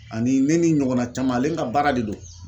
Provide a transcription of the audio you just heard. Ani ne ni n ɲɔgɔnna caman ale ka baara de don.